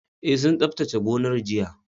E sun tsaftace gonar jiya